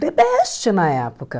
The best na época.